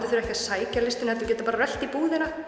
þurfa ekki að sækja listina heldur geta bara rölt í